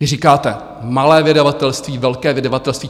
Vy říkáte - malé vydavatelství, velké vydavatelství.